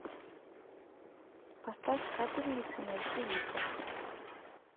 поставь капельница найтивыход